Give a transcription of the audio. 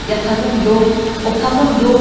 Yatağım yox, otağım yox.